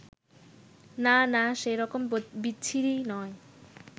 না না, সে রকম বিচ্ছিরি নয়